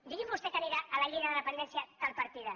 digui’m vostè que anirà a la llei de dependència tal partida